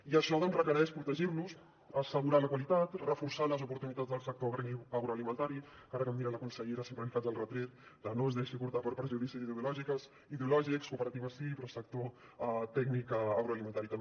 i això requereix protegir los assegurar ne la qualitat reforçar les oportunitats del sector agroalimentari que ara que em mira la consellera sempre li faig el retret de no es deixi portar per prejudicis ideològics cooperatives sí però sector tècnic agroalimentari també